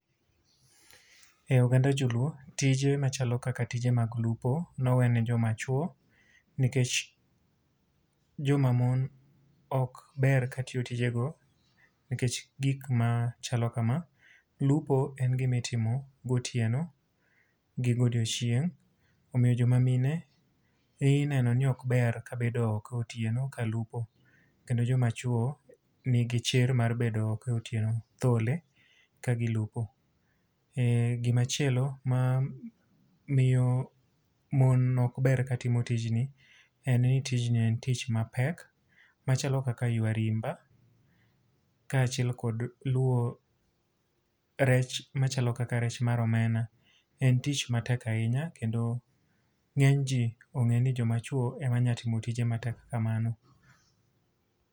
E oganda joluo, tije machalo kaka tije mag lupo ne owe ne joma chwo, nikech joma mon, ok ber ka tiyo tijego nikech gik ma chalo kama. Lupo en gima itimo gotieno, gi godiechieng', omiyo joma mine ineno ni ok ber ka bedo oko otieno ka lupo. Kendo joma chwo nigi chir mar bedo oko otieno thole ka giplupo. Gima chielo mamiyo mon ne ok ber katimo tijni, en ni tijni en tich mapek machalo kaka ywa rimba, kaachiel kod luwo rech machalo kaka rech mar omena, en tich matek ahinya. Kendo ngény ji ongé ni jomachwo em a nyalo timo tije matek kamano.